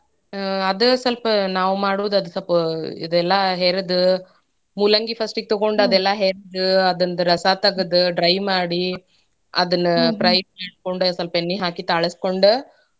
ಅಹ್ ಅದ್ ಸ್ವಲ್ಪ ನಾವ್ ಮಾಡುದ್ ಬ ಇದೆಲ್ಲಾ ಹೆರ್ದ ಮೂಲಂಗಿ first ಯೀಗ್ ತಗೋಂಡ್ ಅದೇಲ್ಲಾ ಹೆರ್ದ ಅದರ್ದ್ ರಸಾ ತೆಗ್ದ್ dry ಮಾಡಿ ಅದ್ನ fry ಮಾಡ್ಕೊಂಡ್ ಸ್ವಲ್ಪ್ ಎಣ್ಣೇ ಹಾಕ್ದೊಂಡ್ ತಾಳ್ಸಕೊಂಡ್.